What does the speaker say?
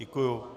Děkuju.